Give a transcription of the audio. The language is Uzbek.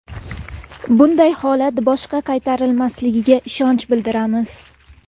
Bunday holat boshqa qaytarilmasligiga ishonch bildiramiz.